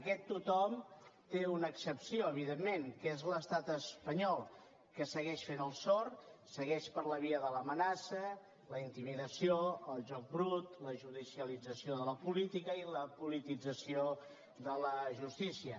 aquest tothom té una excepció evidentment que és l’estat espanyol que segueix fent el sord segueix per la via de l’amenaça la intimidació el joc brut la judicialització de la política i la politització de la justícia